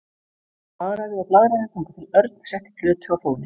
Hann blaðraði og blaðraði þangað til Örn setti plötu á fóninn.